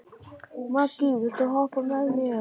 Maggý, viltu hoppa með mér?